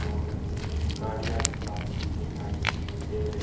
और गाड़ियां भी काफी दिखाई दे र--